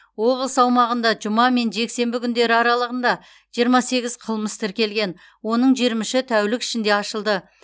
облыс аумағында жұма мен жексенбі күндері аралығында жиырма сегіз қылмыс тіркелген оның жиырма үші тәулік ішінде ашылды